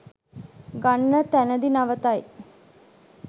ගන්න තැනදී නවතයි